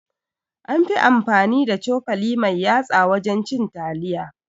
An fi amfani da cokali mai yatsa wajen cin taliya